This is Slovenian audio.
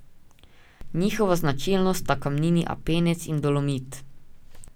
Njihova značilnost sta kamnini apnenec in dolomit.